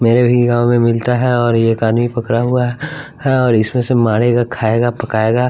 मेरे भी गांव में मिलता है और एक आदमी पकड़ा हुआ है और इसमें से मारेगा खाएगा पकाएगा।